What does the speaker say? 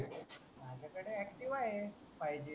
माझ्याकडे ACTIVA आहे FIVE G